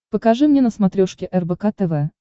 покажи мне на смотрешке рбк тв